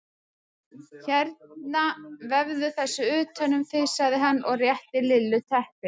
Hérna vefðu þessu utan um þig sagði hann og rétti Lillu teppi.